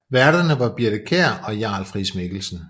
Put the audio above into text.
Værterne var Birthe Kjær og Jarl Friis Mikkelsen